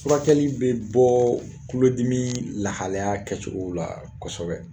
Furakɛli bɛ bɔɔ tulodimii lahalaya kɛcogow la kɔsɛbɛ